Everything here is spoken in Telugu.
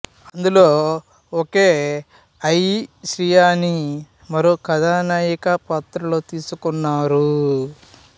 అందులో ఒకే అయి శ్రియాని మరో కథనాయిక పాత్రలో తీసుకున్నారు